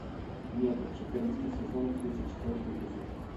метод четырнадцатый сезон тридцать четвертый эпизод